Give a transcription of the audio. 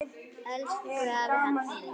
Elsku afi Haddi minn.